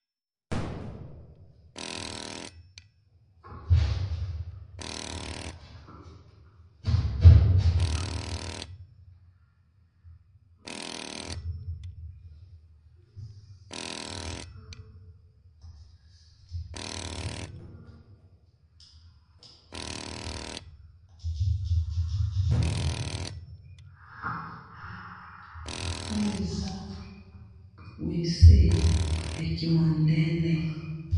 Oyo eza wc na ki mondele.